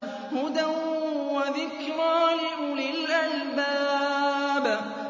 هُدًى وَذِكْرَىٰ لِأُولِي الْأَلْبَابِ